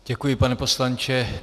Děkuji, pane poslanče.